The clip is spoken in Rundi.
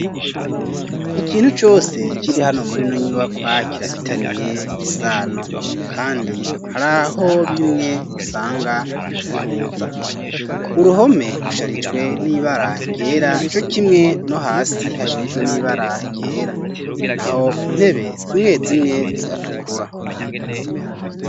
Ikintu cose kiri hano muri no nyubakwa kirafitaniye isano kandi hariho bimwe usanga bihuza uruhome rusharijwe n'ibara ryera co kimwe no hasi hasharijwe n'ibara ryera naho intebe zimwe zimwe ziratukura.